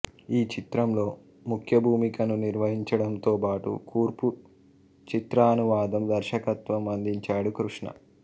ఈ చిత్రంలో ముఖ్యభూమికను నిర్వహించడంతోబాటు కూర్పు చిత్రానువాదం దర్శకత్వం అందించాడు కృష్ణ